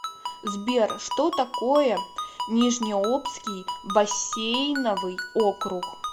сбер что такое нижнеобский бассейновый округ